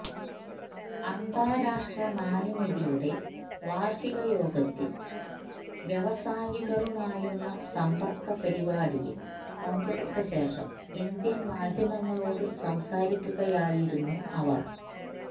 അന്താരാഷ്ട്ര നാണ്യനിധിയുടെ വാർഷികയോഗത്തിൽ വ്യവസായികളുമായുള്ള സമ്പർക്കപരിപാടിയിൽ പങ്കെടുത്തശേഷം ഇന്ത്യൻ മാധ്യമങ്ങളോടു സംസാരിക്കുകയായിരുന്നു അവർ